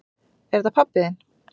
Er þetta pabbi þinn?